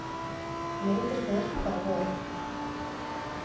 Myndirnar bara voru.